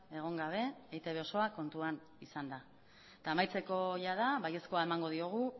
egon gabe eitb osoa kontuan izanda eta amaitzeko jada baiezkoa emango diogu